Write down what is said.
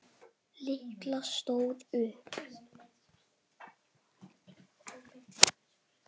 Lilla stóð upp.